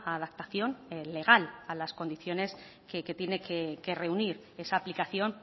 adaptación legal a las condiciones que tiene que reunir esa aplicación